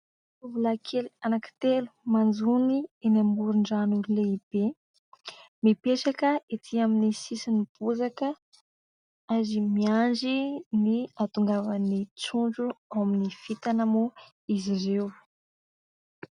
Tovolahy kely anankitelo, manjono eny amoron-drano lehibe ; mipetraka ety amin'ny sisin'ny bozaka, ary miandry ny hahatongavan'ny trondro ao amin'ny fintana moa izy ireo.